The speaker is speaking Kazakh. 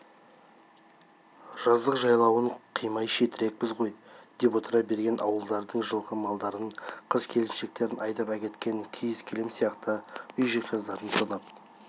жаздық жайлауын қимай шетірекпіз ғой деп отыра берген ауылдардың жылқы малдарың қыз-келіншектерін айдап әкеткен киіз-кілем сияқты үй жиһаздарын тонап